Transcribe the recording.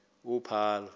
uphalo